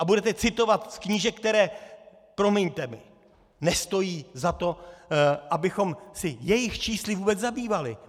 A budete citovat z knížek, které, promiňte mi, nestojí za to, abychom se jejich čísly vůbec zabývali.